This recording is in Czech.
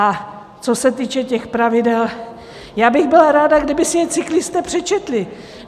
A co se týče těch pravidel, já bych byla ráda, kdyby si je cyklisté přečetli.